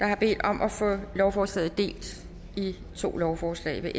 har bedt om at få lovforslaget delt i to lovforslag